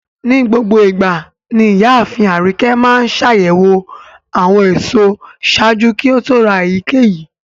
Nigbogboigba ni iyaafin Arike maa ńṣayẹwo awọn eso ṣaaju ki o to ra eyikeyi